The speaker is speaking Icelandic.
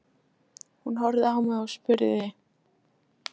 Hún horfði á mig og spurði